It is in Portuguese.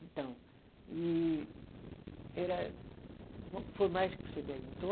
Então, e era foi mais que você perguntou?